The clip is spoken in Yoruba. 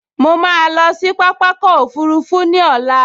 Mo ma lọ sí pápákọ̀ òfurufú ní ọ̀la